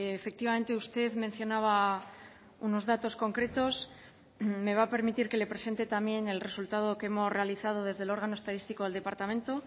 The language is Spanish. efectivamente usted mencionaba unos datos concretos me va a permitir que le presente también el resultado que hemos realizado desde el órgano estadístico del departamento